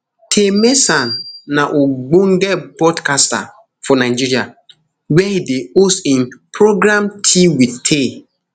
taymesan na ogbonge podcaster for nigeria wia e dey host im programtea with tay